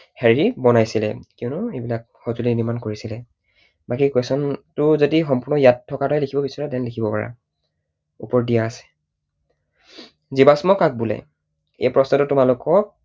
হেৰি বনাইছিলে। কিয়নো এইবিলাক সঁজুলি নিৰ্মাণ কৰিছিলে। বাকী question টো যদি সম্পূৰ্ণ ইয়াত থকাৰ দৰেই লিখিব বিচাৰা then লিখিব পাৰা। ওপৰত দিয়া আছে। জীৱাশ্ম কাক বোলে? এই প্ৰশ্নটো তোমালোকক